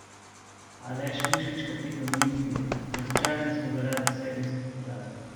Aleš Mušič, kapetan Olimpije: "Razočarani smo zaradi serijskih porazov.